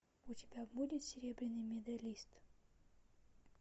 у тебя будет серебряный медалист